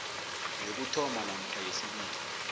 yokuthoma namkha yesibili